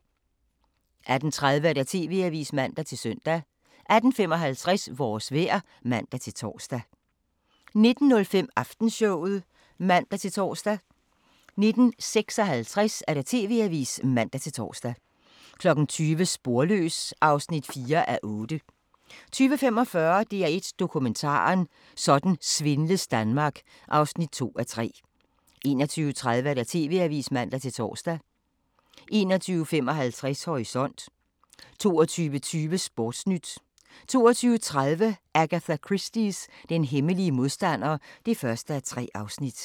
18:30: TV-avisen (man-søn) 18:55: Vores vejr (man-tor) 19:05: Aftenshowet (man-tor) 19:55: TV-avisen (man-tor) 20:00: Sporløs (4:8) 20:45: DR1 Dokumentaren: Sådan svindles Danmark (2:3) 21:30: TV-avisen (man-tor) 21:55: Horisont 22:20: Sportnyt 22:30: Agatha Christies Den hemmelige modstander (1:3)